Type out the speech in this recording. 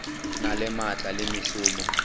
na le maatla le mešomo